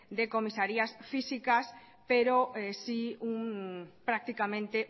de comisarías físicas pero sí prácticamente